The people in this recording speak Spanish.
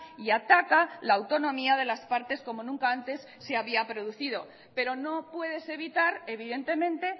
y ataca la autonomía de las partes como nunca antes se había producido pero no puedes evitar evidentemente